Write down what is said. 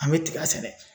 An bɛ tiga sɛnɛ